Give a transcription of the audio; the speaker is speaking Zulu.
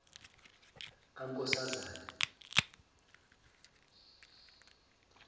kankoszane